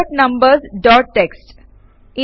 sort numbers dot TXT